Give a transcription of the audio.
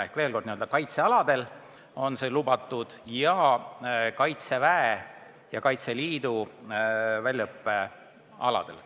Ehk veel kord, see on lubatud kaitsealadel ja Kaitseväe ja Kaitseliidu väljaõppealadel.